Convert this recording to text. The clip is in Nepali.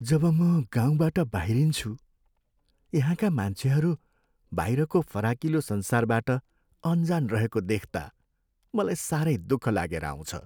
जब म गाउँबाट बाहिरिन्छु, यहाँका मान्छेहरू बाहिरको फराकिलो संसारबाट अनजान रहेको देख्ता मलाई सारै दुख लागेर आउँछ।